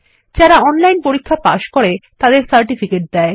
যারা অনলাইন পরীক্ষা পাস করে তাদের সার্টিফিকেট দেয়